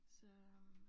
Så øh